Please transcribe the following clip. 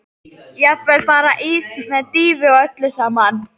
Jafnvel bara ís með dýfu og öllu saman.